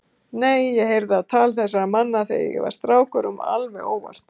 Nei, en ég heyrði á tal þessara manna þegar ég var strákur alveg óvart.